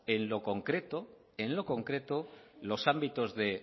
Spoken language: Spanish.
en lo concreto los ámbitos